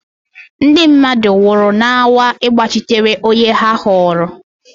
Ndị mmadụ nwụrụ na-anwa ịgbachitere onye ha họọrọ.